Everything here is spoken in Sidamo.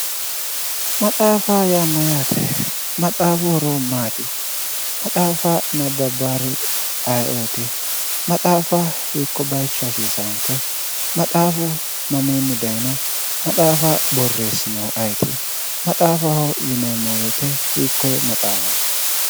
Maxaafaho yaa Mayyaate? maxaafu horo maati? maxaafa nabbabbaari ayeooti? maxaafa hiikko bayicho hasisawoke? maxaafu mamiini dayino? Maxaafa boreesinohu ayeti? maxaafaho yineemo woyite hikoye maxaafati?